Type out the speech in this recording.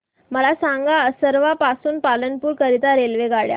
मला सांगा असरवा पासून पालनपुर करीता रेल्वेगाड्या